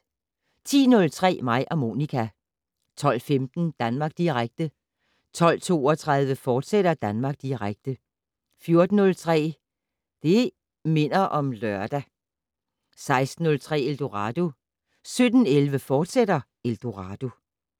10:03: Mig og Monica 12:15: Danmark Direkte 12:32: Danmark Direkte, fortsat 14:03: Det' Minder om Lørdag 16:03: Eldorado 17:11: Eldorado, fortsat